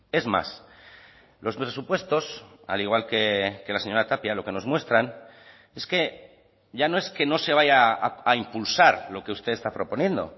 es más los presupuestos al igual que la señora tapia lo que nos muestran es que ya no es que no se vaya a impulsar lo que usted está proponiendo